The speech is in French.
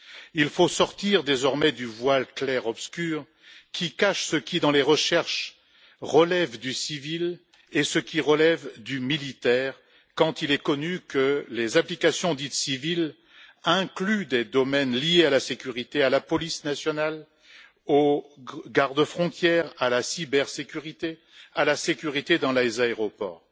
Il faut sortir désormais du voile clair obscur qui cache ce qui, dans les recherches, relève du civil et ce qui relève du militaire, quand il est connu que les applications dites civiles incluent des domaines liés à la sécurité, à la police nationale, aux gardes frontières, à la cybersécurité ou à la sécurité dans les aéroports.